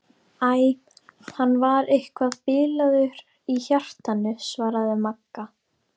Æ, hann var eitthvað bilaður í hjartanu svaraði Magga.